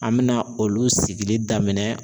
An bɛna olu sigili daminɛ